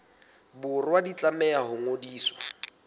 borwa di tlameha ho ngodiswa